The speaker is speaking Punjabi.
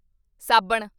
ਸਾਬਣ